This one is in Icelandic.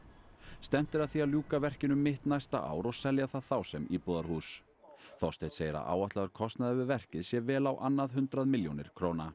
stefnt er að því að ljúka verkinu um mitt næsta ár og selja það þá sem íbúðarhús Þorsteinn segir að áætlaður kostnaður við verkið sé vel á annað hundrað milljónir króna